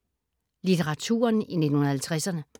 Litteraturen i 1950’erne